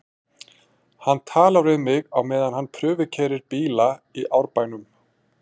Hann talar við mig á meðan hann prufukeyrir bíla í Árbænum.